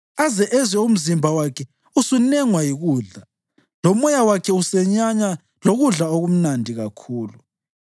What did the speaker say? aze ezwe umzimba wakhe usunengwa yikudla lomoya wakhe usenyanya lokudla okumnandi kakhulu.